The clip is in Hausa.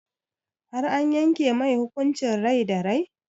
Har an yanke mai hukuncin rai da rai?